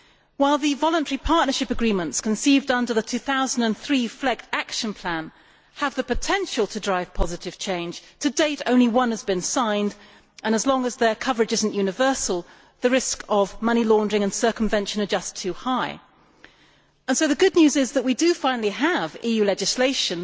While the voluntary partnership agreements conceived under the 2003 FLEGT Action Plan have the potential to drive positive change, to date only one has been signed and, as long as their coverage is not universal, the risks of money laundering and circumvention are just too high. The good news is that we do finally have EU legislation